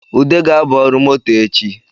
Ude ga-aba ọrụ moto echi